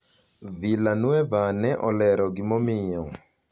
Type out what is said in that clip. Villanueva ne olero gimomiyo: